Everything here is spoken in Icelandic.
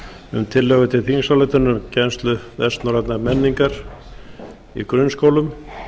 um tillögu til þingsályktunar um kennslu vestnorrænnar menningar í grunnskólum